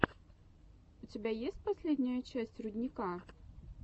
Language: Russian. у тебя есть последняя часть рудника